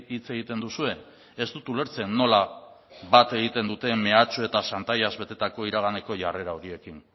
hitz egiten duzue ez dut ulertzen nola bat egiten duten mehatxu eta xantaiaz betetako iraganeko jarrera horiekin